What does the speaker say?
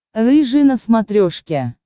рыжий на смотрешке